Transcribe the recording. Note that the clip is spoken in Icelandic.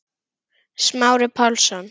Smári Pálsson